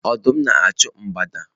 Ọdụm na-achụ mgbada